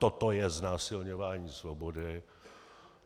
Toto je znásilňování svobody.